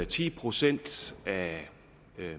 ti procent af